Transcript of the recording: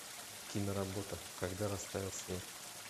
киноработа когда растаял снег